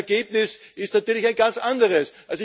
Das Ergebnis ist natürlich ein ganz anderes.